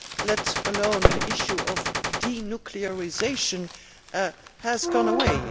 let alone the issue of denuclearisation, has gone away.